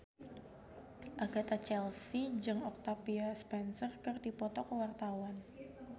Agatha Chelsea jeung Octavia Spencer keur dipoto ku wartawan